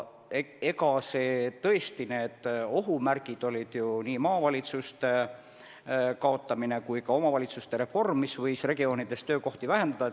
Tõesti, ohumärgid olid ju nii maavalitsuste kaotamine kui ka omavalitsuste reform, mis võisid regioonides töökohti vähendada.